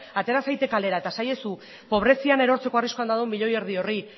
atera zaitez kalera eta esaiezu pobrezian erortzeko arriskuan dagoen milioi erdi horri